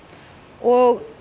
og